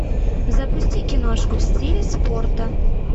запусти киношку в стиле спорта